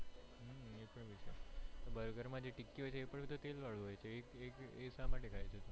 burger માં જે ટિક્કી હોય છે એ પણ તો તેલ વાલી હોય છે એ શામાટે ખાય છે તું